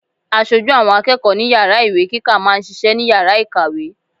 Aṣojú àwọn akẹ́kọ̀ọ́ ní Yàrá ìwé kíkà máa ń ṣiṣẹ́ ní Yàrá ìkàwé.